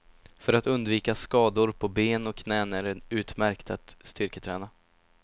För att undvika skador på ben och knän är det utmärkt att styrketräna.